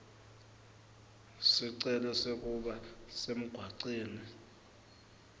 sicelo sekuba semgwaceni